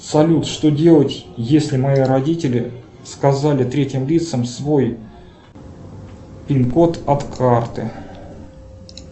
салют что делать если мои родители сказали третьим лицам свой пин код от карты